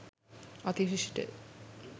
අති විශිෂ්ට ය.